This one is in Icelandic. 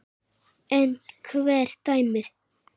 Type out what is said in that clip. En hver dæmir?